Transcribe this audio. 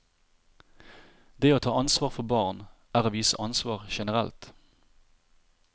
Det å ta ansvar for barn, er å vise ansvar generelt.